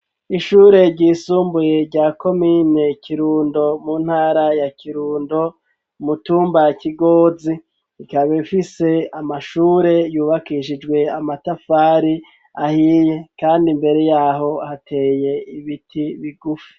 Ishure ryisumbuye rya komine Kirundo mu ntara ya Kirundo mu tumba Kigozi ikaba ifise amashure yubakishijwe amatafari ahiye kandi imbere yaho hateye ibiti bigufi.